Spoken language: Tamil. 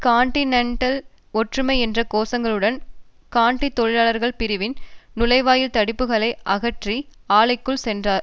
கொன்டினென்டல் ஒற்றுமை என்ற கோஷங்களுடன் கொன்டி தொழிலாளர்கள் பிரிவின் நுழைவாயில் தடுப்புக்களை அகற்றி ஆலைக்குள் சென்றனர்